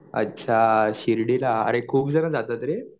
अच्छा शिर्डीला खूप जण जातात रे.